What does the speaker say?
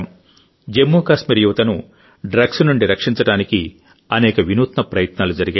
జమ్మూ కాశ్మీర్ యువతను డ్రగ్స్ నుండి రక్షించడానికి అనేక వినూత్న ప్రయత్నాలు జరిగాయి